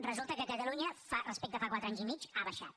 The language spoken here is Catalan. resulta que a catalunya respecte a fa quatre anys i mig ha baixat